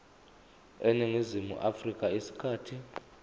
eningizimu afrika isikhathi